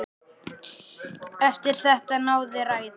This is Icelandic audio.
Eftir þetta náði ræða